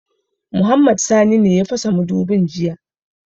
Muktar ne ya fasa mudubin jiya